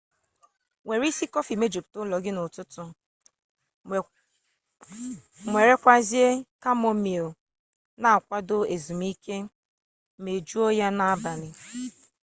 were isi kofi mejuputa ulo gi n'ututu were kwazia chamomile n'akwado ezumike mejuo ya n'abali